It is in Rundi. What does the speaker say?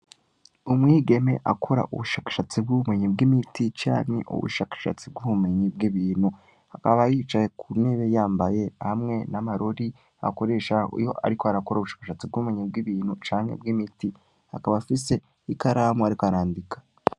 Umwigeme akora ubushakashatsi bw'ubumenyi bw'imiti canke ubushakashatsi bw'ubumenyi bw' ibintu, akaba yicaye ku nebe yambaye hamwe n'amarori akoresha iyo ariko arakora ubushakashatsi bw'ubumenyi bw'ibintu canke bw' imiti, akaba afise ikaramu, ariko arandika.